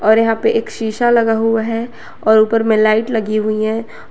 और यहां पे एक शीशा लगा हुआ है और ऊपर में लाइट लगी हुई हैं।